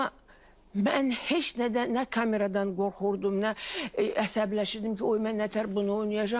Amma mən heç nədən, nə kameradan qorxurdum, nə əsəbləşirdim ki, oy mən nətər bunu oynayacam?